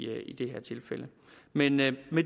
det her tilfælde men med